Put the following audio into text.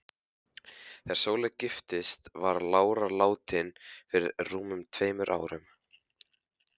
Þegar Sóley giftist var lára látin fyrir rúmum tveimur árum.